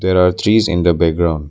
There are trees in the background.